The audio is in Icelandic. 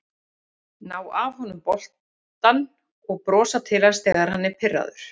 Ná af honum boltann og brosa til hans þegar hann er pirraður